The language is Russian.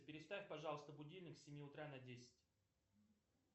переставь пожалуйста будильник с семи утра на десять